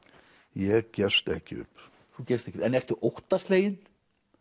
ég gefst ekki upp þú gefst ekki en ertu óttasleginn